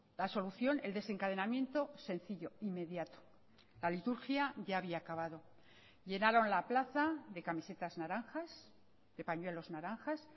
la solución el desencadenamiento sencillo inmediato la liturgia ya había acabado llenaron la plaza de camisetas naranjas de pañuelos naranjas